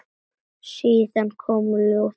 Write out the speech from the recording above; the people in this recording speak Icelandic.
Síðan kom ljóðið sjálft